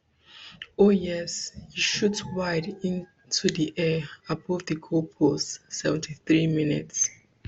oh yes e shoot wide into di air above di goalpost seventy-threemins